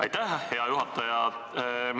Aitäh, hea juhataja!